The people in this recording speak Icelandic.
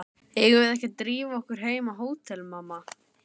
Eigum við ekki að drífa okkur heim á hótel, mamma?